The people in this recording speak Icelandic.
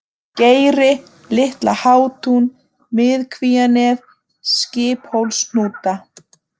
Geiri, Litla-Hátún, Miðkvíanef, Skiphólshnúta